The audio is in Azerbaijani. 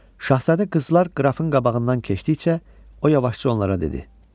Şahzadə qızlar qrafın qabağından keçdikcə, o yavaşca onlara dedi: